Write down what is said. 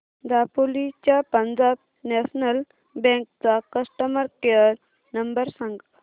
दापोली च्या Punjab National Bank चा customer care number सांग